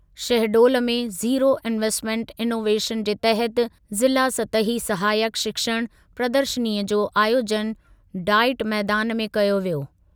शहडोल में zero investment innovation जे तहति ज़िला सतही सहायक शिक्षण प्रदर्शनीअ जो आयोजनु डाईट मैदानु में कयो वियो।